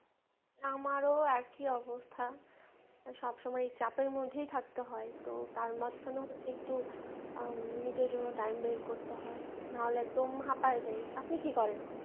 আমারও একি অবস্থা সবসময় চাপের মধ্যেয় থাকতে হয় তো তার মাঝখানেও একটু আহ নিজের জন্য time বের করতে হয় নাহলে দম হাঁপাই যাই আপনি কি করেন।